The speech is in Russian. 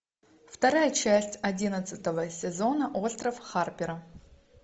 вторая часть одиннадцатого сезона остров харпера